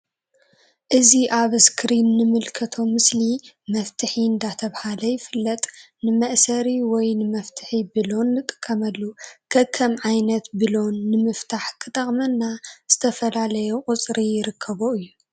እዚ ኣብ እስክሪን እንምልከቶ ምስሊ መፍትሒ እንዳተብሃለ ይፍለጥ። ንመእሰሪ ወይ ንመፍትሒ ቡሎን ንጥቀመሉ ከከም ዓይነት ቡሎን ንምፍታሕ ክጠቅመና ዝተፈላለየ ቁጽሪ ይርከቦ እዩ።